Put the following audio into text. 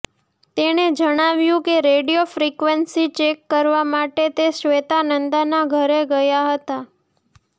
તેણે જણાવ્યું કે રેડિયો ફ્રીક્વેન્સી ચેક કરવા માટે તે શ્વેતા નંદાના ઘરે ગયા હતા